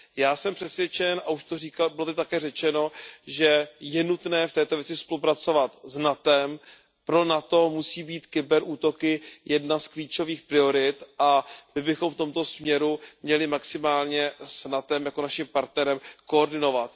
Já jsem přesvědčen a již to tu také bylo řečeno, že je nutné v této věci spolupracovat s NATO, pro NATO musí být kyber útoky jednou z klíčových priorit a my bychom v tomto směru měli maximálně s NATO jako naším partnerem koordinovat.